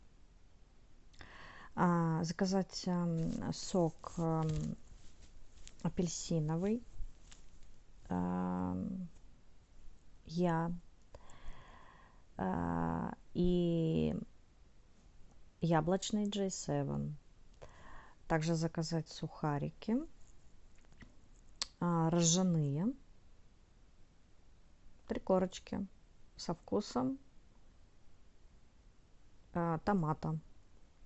заказать сок апельсиновый я и яблочный джей севен также заказать сухарики ржаные три корочки со вкусом томата